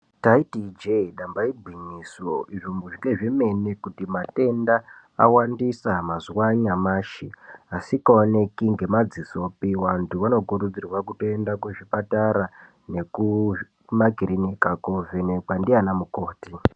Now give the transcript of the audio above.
Taiti ijee damba igwinyiso, izvo ngezvemene kuti matenda awandisa mazuwa anyamashi asikaoneki ngemadzisopi. Vantu vanokurudzirwa kutoenda kuzvipatara nekumakirinika kovhenekwa ndiana mukoti.